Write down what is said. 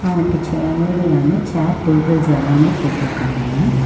இவங்களுக்கு தேவையான chair tables எல்லாமே போட்ருக்காங்க.